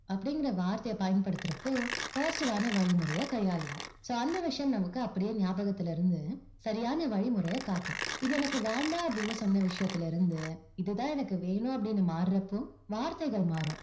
அப்படிங்கற வார்த்தையை பயன்படுத்துறப்போ positive வான வழிமுறையை கையாளுவோம் so அந்த விஷயம் நமக்கு அப்படியே ஞாபகத்தில இருந்து, சரியான வழிமுறையை காட்டும். இது எனக்கு வேண்டாம் அப்படின்னு சொன்ன விஷயத்துல இருந்து, இதுதான் எனக்கு வேணும் அப்படின்னு மாறுறப்போ, வார்த்தைகள் மாறும்.